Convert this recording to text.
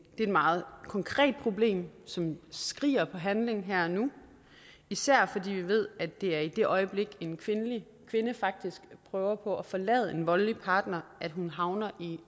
et meget konkret problem som skriger på handling her og nu især fordi vi ved at det er i det øjeblik en kvinde faktisk prøver på at forlade en voldelig partner at hun havner